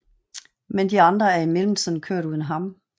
Men de andre er i mellemtiden kørt uden ham